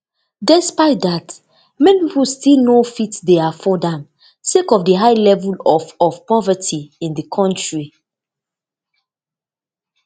despite dat many pipo still no dey fit afford am sake of di high level of of poverty in di kontri